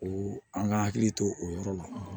O an ka hakili to o yɔrɔ la